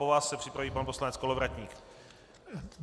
Po vás se připraví pan poslanec Kolovratník.